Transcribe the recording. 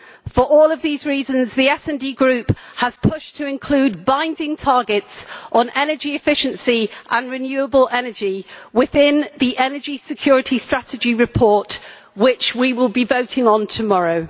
For all of these reasons, the SD Group has pushed to include binding targets on energy efficiency and renewable energy in the energy security strategy report, which we will be voting on tomorrow.